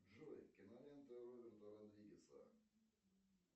джой кинолента роберта родригеса